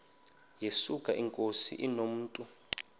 yesuka inkosi inomntu